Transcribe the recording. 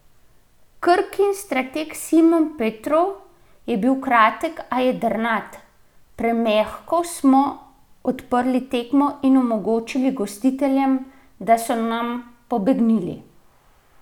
Krkin strateg Simon Petrov je bil kratek, a jedrnat: "Premehko smo odprli tekmo in omogočili gostiteljem, da so nam pobegnili.